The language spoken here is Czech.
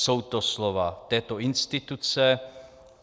Jsou to slova této instituce.